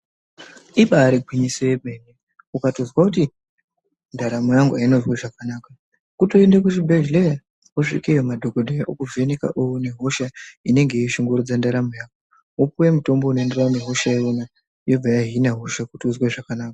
Imbari gwinyiso yemene ukatozwa kuti ndaramo yangu aina kuzwa zvakanaka kutoenda kubhehlera wosvikayo madhokoteya okuvheneka oone hosha inenge yeshungurudza ndaramo yako wokweya mutombo unoenderana nehosha yaunayo yobva yanina hosha kuti uzwe zvakanaka